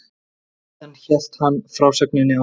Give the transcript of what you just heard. Síðan hélt hann frásögninni áfram